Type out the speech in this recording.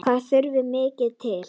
Hvað þurfti mikið til?